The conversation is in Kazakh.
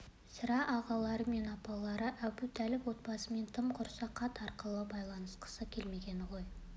сірә ағалары мен апалары әбутәліп отбасымен тым құрыса хат арқылы байланысқысы келмегені ғой